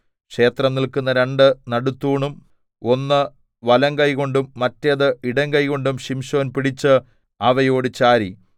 ക്ഷേത്രം നില്ക്കുന്ന രണ്ട് നടുത്തൂണും ഒന്ന് വലങ്കൈകൊണ്ടും മറ്റേത് ഇടങ്കൈകൊണ്ടും ശിംശോൻ പിടിച്ച് അവയോട് ചാരി